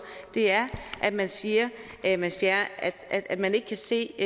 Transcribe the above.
er at man siger at man ikke kan se